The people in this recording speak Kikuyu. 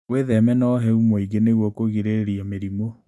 Wĩtheme na ũhehu mũingĩ nĩguo kũrigĩrĩria mĩrimũ.